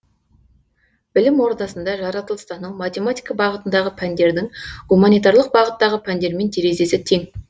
білім ордасында жаратылыстану математика бағытындағы пәндердің гуманитарлық бағыттағы пәндермен терезесі тең